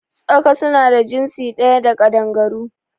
Tsaka su na jinsi ɗaya da Ƙaɗangaru